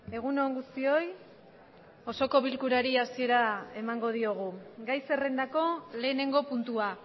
egun on guztioi osoko bilkurari hasiera emango diogu gai zerrendako lehenengo puntua